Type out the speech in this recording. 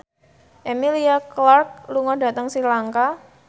Emilia Clarke lunga dhateng Sri Lanka